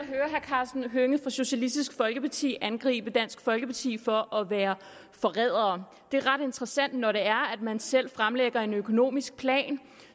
karsten hønge fra socialistisk folkeparti angribe dansk folkeparti for at være forrædere det er ret interessant når det er man selv fremlægger en økonomisk plan